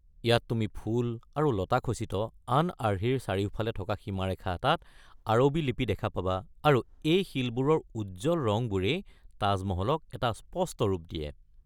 ইয়াত তুমি ফুল আৰু লতা খচিত আন আৰ্হিৰ চাৰিওফালে থকা সীমাৰেখা এটাত আৰবী লিপি দেখা পাবা আৰু এই শিলবোৰৰ উজ্জল ৰঙবোৰেই তাজ মহলক এটা স্পষ্ট ৰূপ দিয়ে।